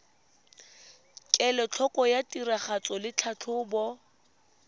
kelotlhoko ya tiragatso le tlhatlhobo